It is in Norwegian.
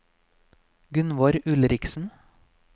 Gunnvor Ulriksen